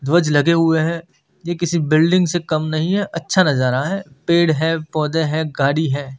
ध्वज लगे हुए हैं ये किसी बिल्डिंग से कम नहीं है अच्छा नज़ारा है पेड़ हैं पौधे हैं गाड़ी है।